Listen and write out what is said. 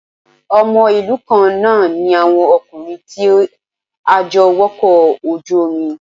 Ọmọ ìlú kan náà ní àwọn ọkùnrin tí a jọ wọkọ̀ ojú omi